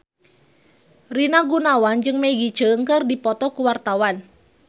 Rina Gunawan jeung Maggie Cheung keur dipoto ku wartawan